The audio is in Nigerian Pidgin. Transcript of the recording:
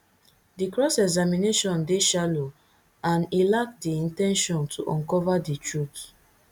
di cross examination dey shallow and e lack di in ten tion to uncover di truth